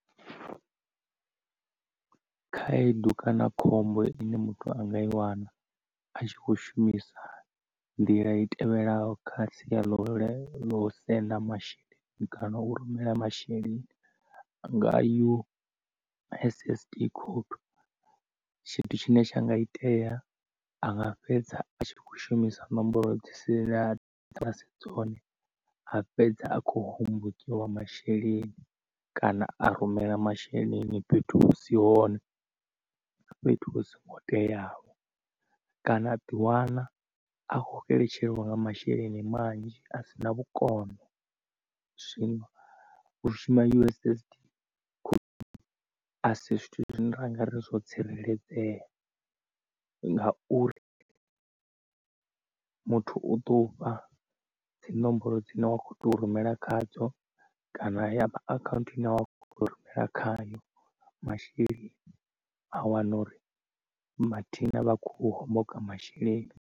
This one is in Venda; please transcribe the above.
Khaedu kana khombo ine muthu anga i wana a tshi kho shumisa nḓila i tevhelaho kha sia ḽa ulae lo senda masheleni kana u rumela masheleni nga U_S_S_D code tshithu tshine tsha nga itea anga fhedza a tshikho shumisa nomboro dzi si ḽa dza si dzone a fhedza a kho hombokiwa masheleni kana a rumela masheleni fhethu husi hone fhethu hu songo teaho, kana a ḓi wana a kho xeletshelwa nga masheleni manzhi a sina vhukono. Zwino u shuma U_S_S_D code asi zwithu zwine ra nga ri zwo tsireledzea ngauri muthu u tou fha dzinomboro dzine wa kho tea u rumela khadzo kana ya account ine wa kho tea u rumela khayo masheleni a wana uri mathina vha khou homboka masheleni.